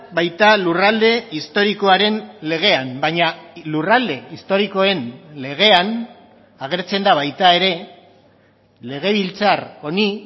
baita lurralde historikoaren legean baina lurralde historikoen legean agertzen da baita ere legebiltzar honi